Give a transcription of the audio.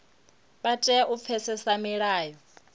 vha tea u pfesesa milayo